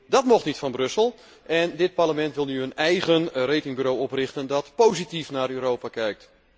Dat mocht niet van Brussel en dit Parlement wil nu een eigen ratingbureau oprichten dat positief naar Europa kijkt.